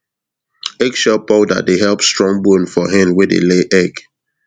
eggshell powder dey help strong bone for hen wey dey lay egg